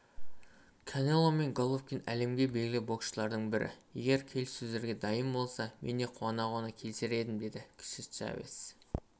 канело мен головкин әлемге белгілі боксшылардың бірі егер келіссөздерге дайын болса мен де қуана-қуана келісер едім деді кіші чавес